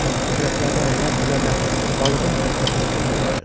Kürəklərdən əyləc düzəldər balığın hərəkətinə göz yetirərəm.